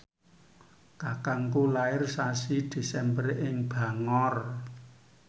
kakangku lair sasi Desember ing Bangor